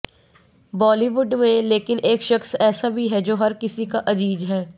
बॉलीवुड में लेकिन एक शख्स ऐसा भी है जो हर किसी का अजीज है